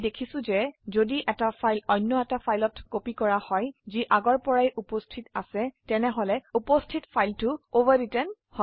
আমি দেখিছো যে যদি এটা ফাইল অন্য এটা ফাইলত কপি কৰা হয় যি আগৰ পৰাই উপস্থিত আছে তেনেহলে উপস্থিত ফাইলটো অভাৰৱৃত্তেন হব